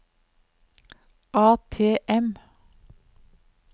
ATM